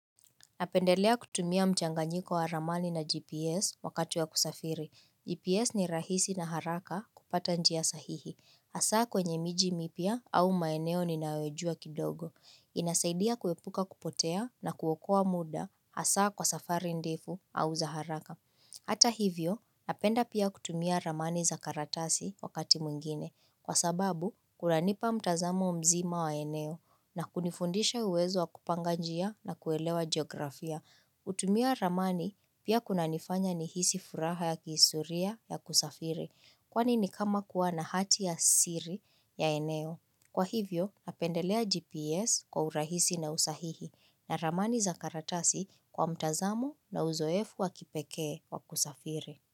Napendelea kutumia mchanganyiko wa ramani na GPS wakati wa kusafiri. GPS ni rahisi na haraka kupata njia sahihi. Asaa kwenye miji mipya au maeneo ninayojua kidogo. Inasaidia kuwepuka kupotea na kuokoa muda asaa kwa safari ndefu au za haraka. Hata hivyo, napenda pia kutumia ramani za karatasi wakati mwingine. Kwa sababu, kunanipa mtazamo mzima wa eneo na kunifundisha uwezo wa kupanga njia na kuelewa geografia. Kutumia ramani pia kuna nifanya nihisi furaha ya kihistoria ya kusafiri, kwani ni kama kuwa na hati ya siri ya eneo. Kwa hivyo, napendelea GPS kwa urahisi na usahihi na ramani za karatasi kwa mtazamo na uzoefu wa kipekee wa kusafiri.